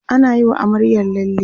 anayi wa amaryar lalle